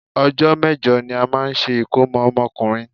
Ọjọ́ mẹ́jọ ní a máa ń ṣe ìkómọ ọmọkùnrin.